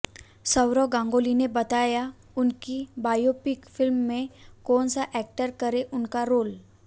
सौरव गांगुली ने बताया उनकी बायोपिक फिल्म में कौन सा एक्टर करे उनका रोल